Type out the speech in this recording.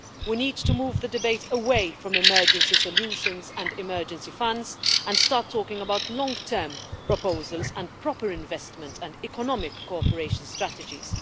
We need to move the debate away from emergency solutions and emergency funds and start talking about long-term proposals and proper investment and economic cooperation strategies.